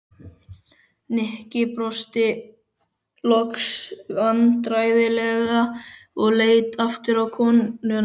Nikki brosti loks vandræðalega og leit aftur á konuna.